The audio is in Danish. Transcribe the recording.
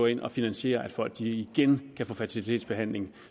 ind og finansierer at folk igen kan få fertilitetsbehandling